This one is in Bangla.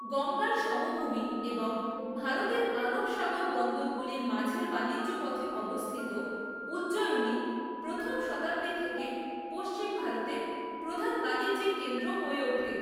গঙ্গার সমভূমি এবং ভারতের আরব সাগর বন্দরগুলির মাঝের বাণিজ্য পথে অবস্থিত উজ্জয়িনী প্রথম শতাব্দী থেকে পশ্চিম ভারতের প্রধান বাণিজ্যিক কেন্দ্র হয়ে ওঠে।